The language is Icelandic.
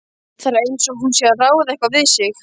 Það er einsog hún sé að ráða eitthvað við sig.